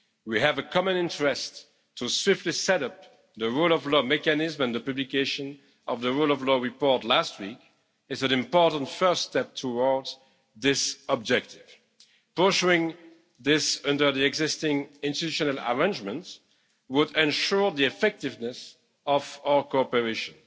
way. We have a common interest to swiftly set up the rule of law mechanism, and the publication of the rule of law report last week is an important first step towards this objective. Pursuing this under the existing institutional arrangements would ensure the effectiveness of our cooperation.